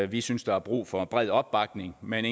vi synes der er brug for en bred opbakning men